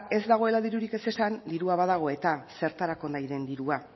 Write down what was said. ez dagoela dirurik ez esan ze dirua badago eta zertarako nahi den dirua